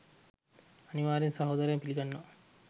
අනිවාර්යෙන් සාදරයෙන් පිලිගන්නවා